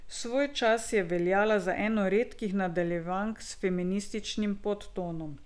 Svojčas je veljala za eno redkih nadaljevank s feminističnim podtonom.